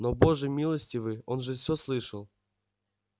но боже милостивый он же всё слышал